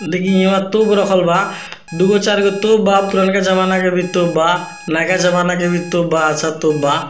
देखीं यहाँ तोप रखल बा दुगो-चारगो तोप बा पुरनका ज़माना के भी तोप बा नयका ज़माना के भी तोप बा अच्छा तोप बा।